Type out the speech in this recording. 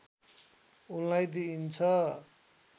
उनलाई दिइन्छ